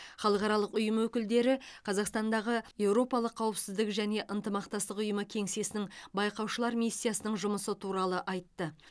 халықаралық ұйым өкілдері қазақстандағы еуропалық қауіпсіздік және ынтымақтастық ұйымы кеңсесінің байқаушылар миссиясының жұмысы туралы айтты